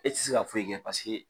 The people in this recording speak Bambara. E tɛ se ka foyi kɛ paseke